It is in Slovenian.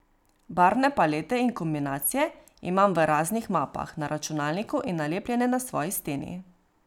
Barvne palete in kombinacije imam v raznih mapah na računalniku in nalepljene na svoji steni.